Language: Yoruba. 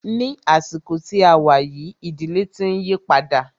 Ní àsìkò tí a wá yìí, ìdílé tí ń yípadà.